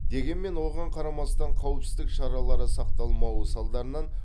дегенмен оған қарамастан қауіпсіздік шаралары сақталмауы салдарынан